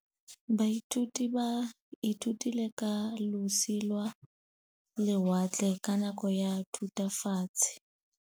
Baithuti ba ithutile ka losi lwa lewatle ka nako ya Thutafatshe.